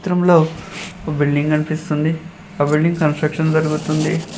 ఉంలో ఒక బిల్డింగ్ కనిపిస్తుంది ఆ బిల్డింగ్ కన్స్ట్రక్షన్ జరుగుతుంది.